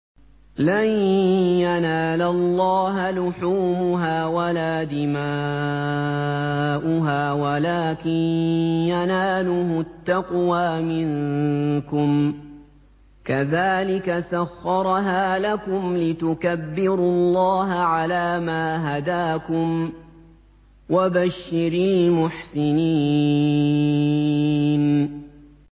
لَن يَنَالَ اللَّهَ لُحُومُهَا وَلَا دِمَاؤُهَا وَلَٰكِن يَنَالُهُ التَّقْوَىٰ مِنكُمْ ۚ كَذَٰلِكَ سَخَّرَهَا لَكُمْ لِتُكَبِّرُوا اللَّهَ عَلَىٰ مَا هَدَاكُمْ ۗ وَبَشِّرِ الْمُحْسِنِينَ